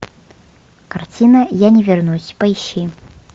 картина я не вернусь поищи